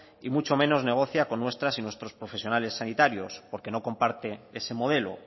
y mucho menos negocia con nuestras y nuestros profesionales sanitarios porque no comparte ese modelo